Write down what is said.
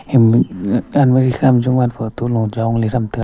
danma ekhama jowan photo lo jongley thram taiga.